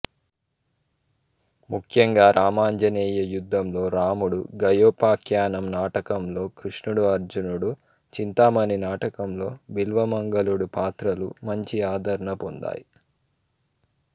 ముఖ్యంగా రామాంజనేయ యుద్ధంలో రాముడు గయోపాఖ్యానం నాటకంలో కృష్ణుడు అర్జునుడు చింతామణి నాటకంలో బిల్వమంగళుడు పాత్రలు మంచి ఆదరణ పొందాయి